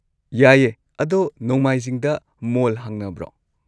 ꯌꯥꯏꯌꯦ, ꯑꯗꯣ ꯅꯣꯡꯃꯥꯏꯖꯤꯡꯗ ꯃꯣꯜ ꯍꯥꯡꯅꯕ꯭ꯔꯣ?